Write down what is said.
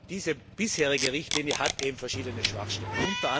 Diese bisherige Richtlinie hat eben verschiedene Schwachstellen.